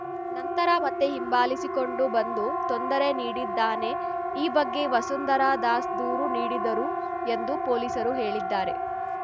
ನಂತರ ಮತ್ತೆ ಹಿಂಬಾಲಿಸಿಕೊಂಡು ಬಂದು ತೊಂದರೆ ನೀಡಿದ್ದಾನೆ ಈ ಬಗ್ಗೆ ವಸುಂಧರಾ ದಾಸ್‌ ದೂರು ನೀಡಿದರು ಎಂದು ಪೊಲೀಸರು ಹೇಳಿದ್ದಾರೆ